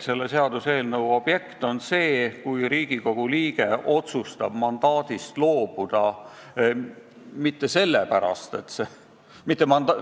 Selle seaduseelnõu objekt on see hüvitis, mis makstakse, kui Riigikogu liige otsustab vabatahtlikult mandaadist loobuda.